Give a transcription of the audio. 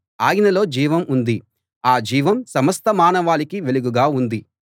ఆయనలో జీవం ఉంది ఆ జీవం సమస్త మానవాళికీ వెలుగుగా ఉంది